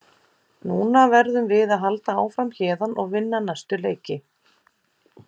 Núna verðum við að halda áfram héðan og vinna næstu leiki.